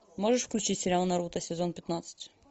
можешь включить сериал наруто сезон пятнадцать